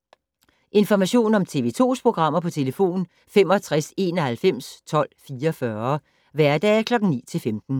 Information om TV 2's programmer: 65 91 12 44, hverdage 9-15.